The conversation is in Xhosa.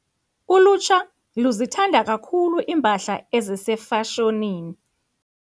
Ulutsha luzithanda kakhulu iimpahla ezisefashonini.